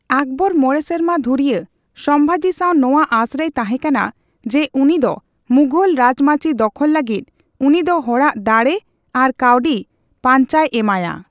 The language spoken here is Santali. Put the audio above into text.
ᱟᱠᱚᱵᱚᱨ ᱢᱚᱬᱮ ᱥᱮᱨᱢᱟ ᱫᱷᱩᱨᱭᱟᱹ ᱥᱚᱢᱵᱷᱟᱡᱤ ᱥᱟᱣ ᱱᱚᱣᱟ ᱟᱹᱥᱨᱮᱭ ᱛᱟᱦᱮᱸᱠᱟᱱᱟ, ᱡᱮ ᱩᱱᱤ ᱫᱚ ᱢᱩᱜᱷᱚᱞ ᱨᱟᱡᱽᱢᱟᱹᱪᱤ ᱫᱚᱠᱷᱚᱞ ᱞᱟᱹᱜᱤᱫ ᱩᱱᱤ ᱫᱚ ᱦᱚᱲᱟᱜ ᱫᱟᱲᱮ ᱟᱨ ᱠᱟᱣᱰᱤ ᱯᱟᱧᱪᱟᱭ ᱮᱢᱟᱭᱟ᱾